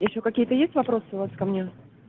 ещё какие-то есть вопросы у вас ко мне